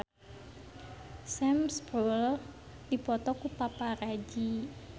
Sam Spruell dipoto ku paparazi